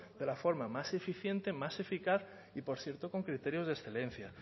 de la forma más eficiente más eficaz y por cierto con criterios de excelencia